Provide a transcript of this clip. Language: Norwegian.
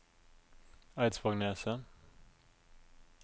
Eidsvågneset